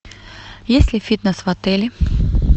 есть ли фитнес в отеле